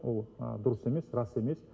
ол дұрыс емес рас емес